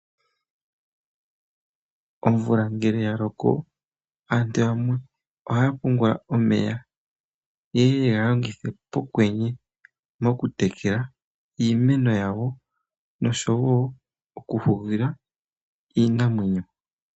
Omvula ngele ya loko aantu yamwe ohaya pungula omeya. Ye ye yega longithe pokwenye oku tekela iimeno yawo. Nosho woo oku hugila iinamwenyo.